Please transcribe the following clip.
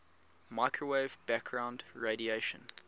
microwave background radiation